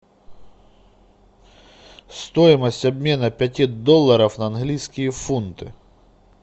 стоимость обмена пяти долларов на английские фунты